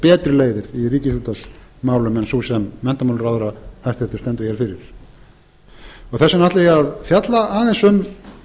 betri leiðir í ríkisútvarpsmálum en sú sem menntamálaráðherra hæstvirtur stendur hér fyrir þess vegna ætla ég að fjalla aðeins um